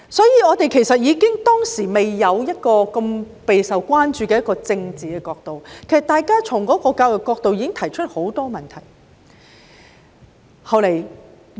因此，即使當時尚未出現備受關注的政治考量，大家單從教育角度已經提出了很多問題。